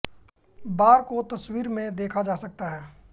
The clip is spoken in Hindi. बार को तस्वीर में देखा जा सकता है